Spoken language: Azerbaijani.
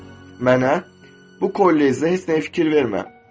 mənə, bu kollecdə heç nəyə fikir vermə.